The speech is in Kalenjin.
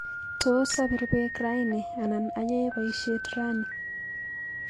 Tos apir beek raini anan ayae boishet ranni